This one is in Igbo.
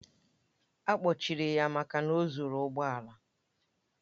A kpọchiri ya maka na o zuru ụgbọ ala.